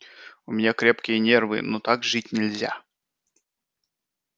у меня крепкие нервы но так жить нельзя